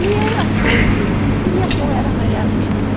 E eu até esquecia que eu era Maria Luisa.